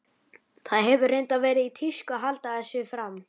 Það hefur reyndar verið í tísku að halda þessu fram.